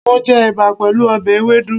Mo je èbà pèlú obè ewédú